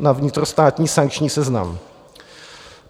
na vnitrostátní sankční seznam.